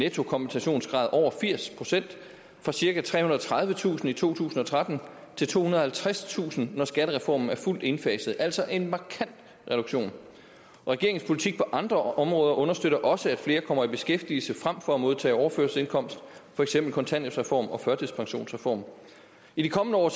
nettokompensationsgrad over firs procent fra cirka trehundrede og tredivetusind i to tusind og tretten til tohundrede og halvtredstusind når skattereformen er fuldt indfaset altså en markant reduktion regeringens politik på andre områder understøtter også at flere kommer i beskæftigelse frem for at modtage overførselsindkomst for eksempel kontanthjælpsreformen og førtidspensionsreformen i de kommende år